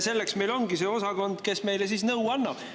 Selleks ongi see osakond, kes meile nõu annab.